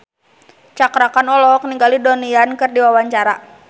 Cakra Khan olohok ningali Donnie Yan keur diwawancara